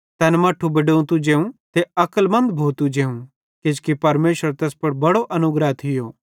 तैन मट्ठू बडोतू जेवं ते अक्लमन्द भोतू जेवं किजोकि परमेशरेरो तैस पुड़ बड़ो अनुग्रह थियो